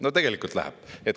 No tegelikult läheb.